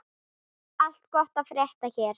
Allt gott að frétta hér.